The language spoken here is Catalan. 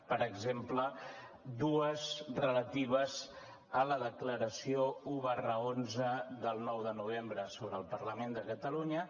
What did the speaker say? per exemple dues de relatives a la declaració un xi del nou de novembre sobre el parlament de catalunya